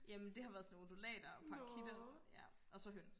jamen det har været sådan nogle undulater og parakitter og sådan noget ja og så høns